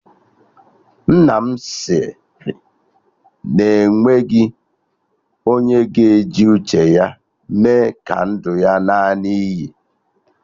Nna m sịrị na o nweghị onye ga-eji uche ya mee ka ndụ ya ṅaa n'iyi